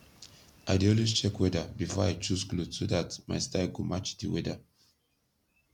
i dey always check weather bifor i choose kloth so dat mai style go match di weather